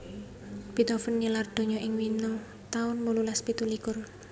Beethoven nilar donya ing Wina taun wolulas pitu likur